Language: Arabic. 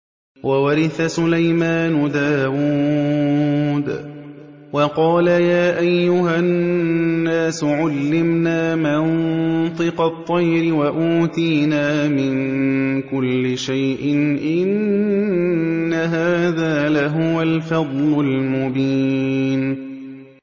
وَوَرِثَ سُلَيْمَانُ دَاوُودَ ۖ وَقَالَ يَا أَيُّهَا النَّاسُ عُلِّمْنَا مَنطِقَ الطَّيْرِ وَأُوتِينَا مِن كُلِّ شَيْءٍ ۖ إِنَّ هَٰذَا لَهُوَ الْفَضْلُ الْمُبِينُ